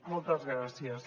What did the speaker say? moltes gràcies